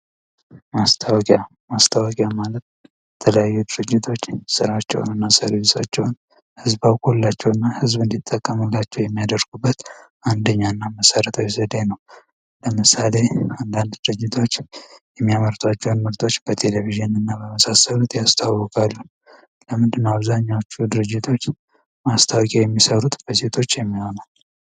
ማስታወቂያ ማስታወቂያ ማለት ተለያዩ ድርጅቶች ሥራቸውን እና ሰርቪሳቸውን ህዝብ አውቆላቸው እና ህዝብ እንዲጥቀመላቸው የሚያደርጉበት አንደኛ እና መሰረታው ዘዴ ነው። ለምሳሌ አንዳንድ ድርጅቶች የሚያመርቷቸውን ምርቶቶች በቴሌቪዥን እና በመሳሰሉት ያስተላልፋሉ። ለምንድን አብዛኛዎቹ ድርጅቶች ማስታወቂያ የሚሰሩት በሴቶች የሚሆነው።